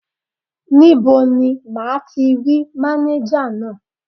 Níbo ni máa ti rí mánéjà náà?